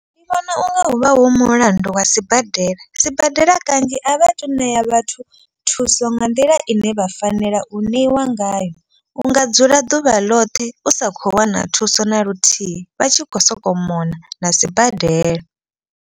Ndi vhona unga huvha hu mulandu wa sibadela. Sibadela kanzhi a vha tu ṋea vhathu thuso nga nḓila ine vha fanela u ṋeiwa ngayo. U nga dzula ḓuvha ḽoṱhe u sa khou wana thuso na luthihi vha tshi khou sokou mona na sibadela.